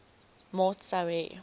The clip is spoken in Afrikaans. maat sou hê